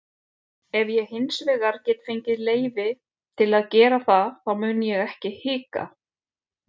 Ef ég hinsvegar get fengið leyfi til að gera það þá mun ég ekki hika.